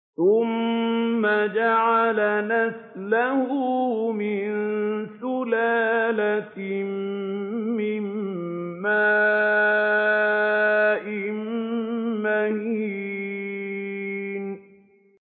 ثُمَّ جَعَلَ نَسْلَهُ مِن سُلَالَةٍ مِّن مَّاءٍ مَّهِينٍ